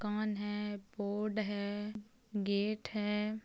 कण है बोर्ड है गेट है।